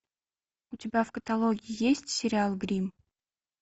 у тебя в каталоге есть сериал гримм